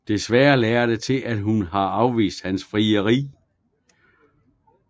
Desværre lader det til at hun har afvist hans frieri